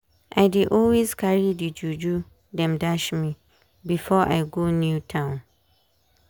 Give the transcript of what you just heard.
i dey always carry the juju dem dash me before i go new town.